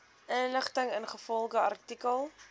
inligting ingevolge artikel